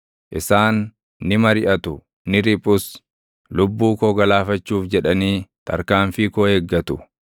Isaan ni mariʼatu; ni riphus; lubbuu koo galaafachuuf jedhanii tarkaanfii koo eeggatu.